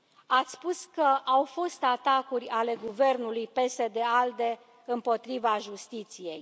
Ați spus că au fost atacuri ale guvernului PSD ALDE împotriva justiției.